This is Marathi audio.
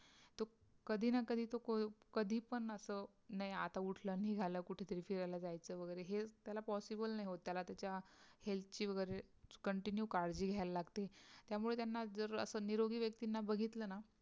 कधी ना कधी चुकून कधी पण असं नाही आता उठला निघाला कुठेतरी फिरायला जायचं वगैरे हे त्याला possible नाही होत त्याला त्याच्या health ची वगैरे continue काळजी घ्यायला लागते त्यामुळे त्यांना जर असं निरोगी व्यक्तींना बघितला ना